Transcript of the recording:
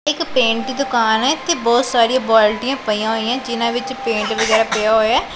ਇੱਕ ਪੇਂਟ ਦੀ ਦੁਕਾਨ ਹੈ ਇਥੇ ਬਹੁਤ ਸਾਰੀਆਂ ਬਾਲਟੀਆਂ ਪਈਆਂ ਹੋਈਆਂ ਜਿਨਾਂ ਵਿੱਚ ਪੇਟ ਵਗੈਰਾ ਪਿਆ ਹੋਇਆ।